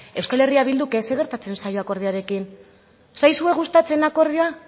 euskal herria bilduk ez zer gertatzen zaio akordioarekin ez zaizue gustatzen akordioa